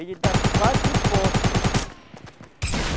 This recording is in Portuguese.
Ele dá quatro postas.